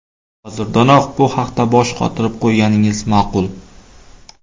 Hozirdanoq bu haqda bosh qotirib qo‘yganingiz ma’qul.